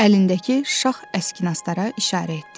Əlindəki şah əskinastara işarə etdi.